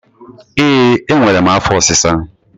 Ee, enwere m afọ ọsisa